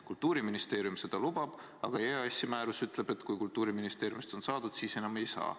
Kultuuriministeerium seda lubab, aga EAS-i määrus ütleb, et kui Kultuuriministeeriumist on saadud, siis enam ei saa.